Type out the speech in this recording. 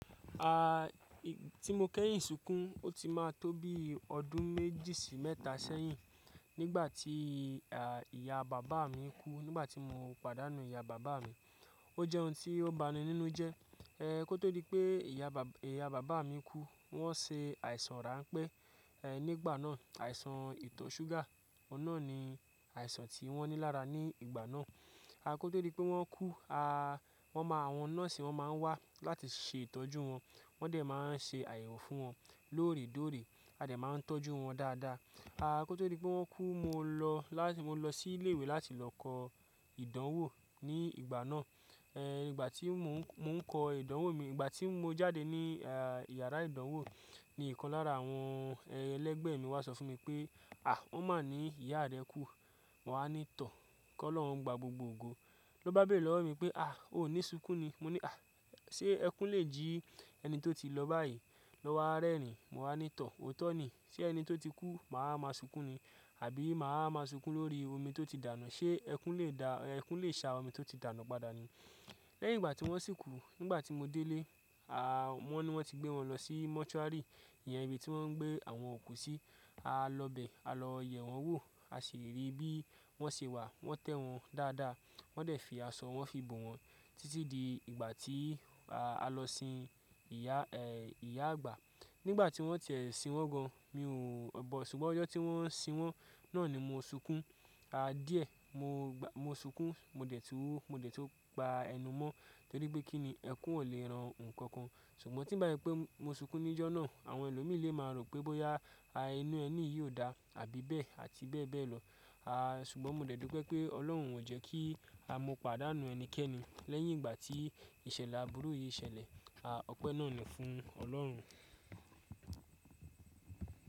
Ah tí mo kẹ́yìn sunkún, ó ti máa tó bí ọdún méjì sí mẹ́ta sẹ́yìn. Nígbà tí ìyá bàbá mi kú, nígbà tí mo pàdánù ìyá bàbá mi. Ó jẹ́ ohun tí ó bani nínú jẹ. Kó tó di pé ìyá bà ìyá bàbá mi kú, wọ́n ṣe àìsàn rà ń pé, nígbà náà àìsàn ìtọ̀ ṣúgà. Òun náà ni àìsàn tí wọ́n ní lára ní ìgbà náà. Kó tó di pé wọ́n kú, a wọ́n máa, àwọn nọ́ọ̀sì máa ń wá láti ṣe ìtọ́jú wọn. Wọ́n dẹ̀ máa ń ṣe àyẹ̀wò fún wọn lóòrè dóòrè. A dẹ̀ máa ń tọ́jú wọn dáadáa. Kó tó di pé wọ́n kú, mo lọ lá mo lọ sí ilé ìwé láti lọ kọ ìdánwò ní ìgbà náà. Nígbà tí mò ń, mò ń kọ ìdánwò mi, ìgbà tí mo jáde ní, ìyàrá ìdánwò ni ìkan lára àwọn ẹlẹ́gbẹ̀ẹ́ mi wá sọ fún mi pé, "àh! Wọ́n máa ní ìyá rẹ kú." Mo wa ní tọ̀, kó lọ́hun gba gbogbo ògo. Ló bá bẹ̀rẹ̀ lọ́wọ́ mi pé, "àh! O ní sunkún ni." Mọ ní, "àh! Ṣé ẹkún lè jí ẹni tó ti lọ báyìí lọ wá rẹ́rin Mo wáa ní tọ̀, "o tọ́ ni. Ṣé ẹni tó ti kú mà á máa sunkún ni? Àbí mà á máa sunkún lórí omi tó ti dànù? Ṣé ẹkún lè dà, ẹkún lè ṣa omi tó ti dànù padà ni?" Lẹ́yìn ìgbà tí wọ́n sì kú, nígbà tí mo dé lé, wọ́n ní wọ́n ti gbé wọn lọ sí mọ́túárì. Iyẹn ibi tí wọ́n ń gbé àwọn òkú sí. A lọ bẹ̀, a lọ yẹ̀ wọ́n wò. A ṣi riri bí wọ́n ṣe wà. Wọ́n tẹ́ wọn dáadáa. Wọ́n dẹ̀ fi aṣọ wọn fi bò wọn títí di ìgbà tí a lọ sin ìyá, ìyá àgbà. Nígbà tí wọ́n tiẹ̀ ṣin wọ́n gan, mi ò bọ̀. Ṣùgbọ́n ọjọ́ tí wọ́n ṣin wọ́n náà ni mo sunkún. A díẹ̀, mo gba-- mo sunkún, mo dẹ̀ tú, mo dẹ̀ tu gba ẹnu mọ́ torí pé kí ni? Ẹkún ò lè ran nǹkan kan. Ṣùgbọ́n tí bá se pé mo sunkún níjọ́ náà, àwọn ẹlòmí lè máa rò pé bóyá, inú ẹleyìí ò dá àbí bẹ́ẹ̀ àti bẹ́ẹ̀ bẹ́ẹ̀ lọ. Ṣùgbọ́n mo dẹ̀ dúpẹ́ pé Ọlọ́run ò jẹ́ kí a mú pàdánù ẹnikẹ́ni lẹ́yìn ìgbà tí ìṣẹ̀lẹ̀ àbúru yìí ṣẹlẹ̀. A, ọpẹ́ náà ni fún Ọlọ́run.